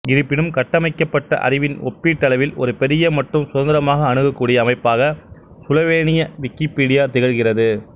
இருப்பினும் கட்டமைக்கப்பட்ட அறிவின் ஒப்பீட்டளவில் ஒரு பெரிய மற்றும் சுதந்திரமாக அணுகக்கூடிய அமைப்பாக சுலோவேனிய விக்கிப்பீடியா திகழ்கிறது